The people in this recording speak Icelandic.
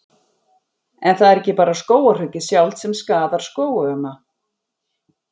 En það er ekki bara skógarhöggið sjálft sem skaðar skógana.